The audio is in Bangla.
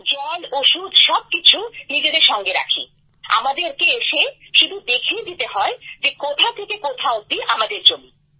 জল ওষুধ সবকিছু নিজের সঙ্গে রাখি আমাদেরকে এসে শুধু দেখিয়ে দিতে হয় যে কোথা থেকে কোথা অব্দি আমাদের জমি